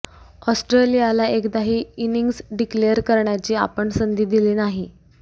ऑस्ट्रेलियाला एकदाही innings declare करण्याची आपण संधी दिली नाही